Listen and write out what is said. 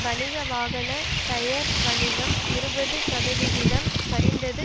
வணிக வாகன டயர் வணிகம் இருபது சதவிகிதம் சரிந்தது